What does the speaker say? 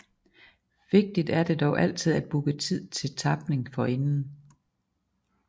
Vigtigt er det dog altid at booke tid til tapning forinden